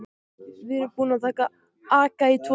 Við erum búin að aka í tvo tíma.